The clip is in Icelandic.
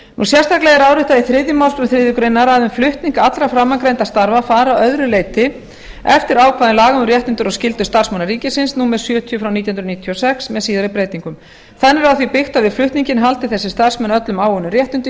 sérstaklega er áréttað í þriðju málsgrein þriðju grein að um flutning allra framangreindra starfa fari að öðru leyti eftir ákvæðum laga um réttindi og skyldur starfsmanna ríkisins númer sjötíu nítján hundruð níutíu og sex með síðari breytingum þannig er á því byggt að við flutninginn haldi þessir starfsmenn öllum áunnum réttindum